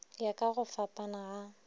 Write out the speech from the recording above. ya ka go fapana ga